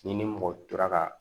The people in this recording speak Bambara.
Ni ni mɔgɔ tora ka